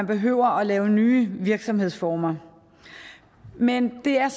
behøver at lave nye virksomhedsformer men det er